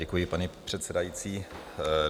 Děkuji, paní předsedající.